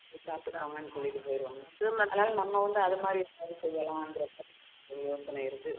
சாப்பிட்டுக்கோங்க சொல்லிட்டு போயிருவாங்க நம்ம வந்து அது மாதிரி செய்யலாம் ஒரு யோசனை இருக்கு